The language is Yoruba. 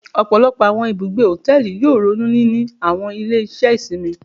Ọpọlọpọ awọn ibugbe hotẹẹli yoo ronu nini awọn ile-iṣẹ isinmi